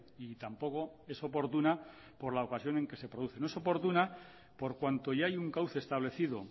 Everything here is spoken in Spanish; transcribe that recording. y tampoco es oportuna por la ocasión en que se produce no es oportuna por cuanto ya hay un cauce establecido